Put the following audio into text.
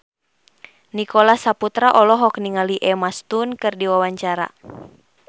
Nicholas Saputra olohok ningali Emma Stone keur diwawancara